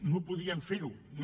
no podien fer ho no